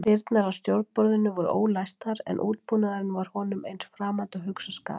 Dyrnar að stjórnborðinu voru ólæstar en útbúnaðurinn var honum eins framandi og hugsast gat.